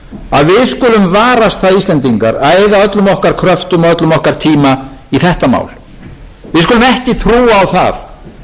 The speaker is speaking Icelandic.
skulum varast það íslendingar að eyða öllum okkar kröftum og öllum okkar tíma í þetta mál við skulum ekki trúa á það sem einhverja einfalda sársaukalausa lausn á